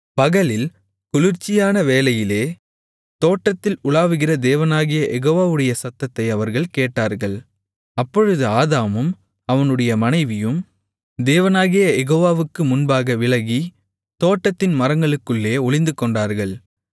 பகலில் குளிர்ச்சியான வேளையிலே தோட்டத்தில் உலாவுகிற தேவனாகிய யெகோவாவுடைய சத்தத்தை அவர்கள் கேட்டார்கள் அப்பொழுது ஆதாமும் அவனுடைய மனைவியும் தேவனாகிய யெகோவாவுக்கு முன்பாக விலகி தோட்டத்தின் மரங்களுக்குள்ளே ஒளிந்துகொண்டார்கள்